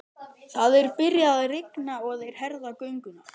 Það er byrjað að rigna og þeir herða gönguna.